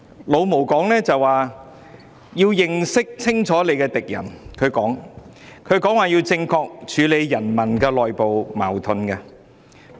"老毛"說要認清敵人，正確處理人民內部矛盾。